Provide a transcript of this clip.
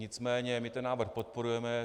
Nicméně my ten návrh podporujeme.